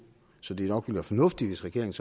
så det ville nok være fornuftigt hvis regeringen